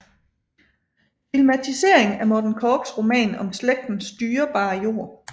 Filmatisering af Morten Korchs roman om slægtens dyrebare jord